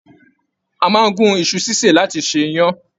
A máa n gún iṣu ṣiṣe láti fí ṣe iyán.